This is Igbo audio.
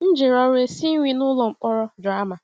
M jere ọrụ esi nri n’ụlọ mkpọrọ Drama.